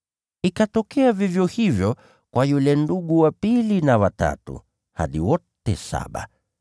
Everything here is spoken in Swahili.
Ikatokea vivyo hivyo kwa yule ndugu wa pili, na wa tatu, hadi wote saba.